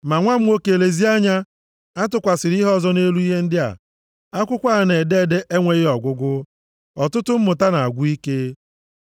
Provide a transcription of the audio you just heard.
Ma nwa m nwoke lezie anya, atụkwasịla ihe ọzọ nʼelu ihe ndị a. Akwụkwọ a na-ede ede enweghị ọgwụgwụ, ọtụtụ mmụta na-agwụ ike.